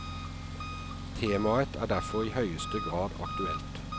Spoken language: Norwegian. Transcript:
Temaet er derfor i høyeste grad aktuelt.